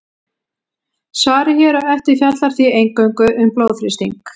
Svarið hér á eftir fjallar því eingöngu um blóðþrýsting.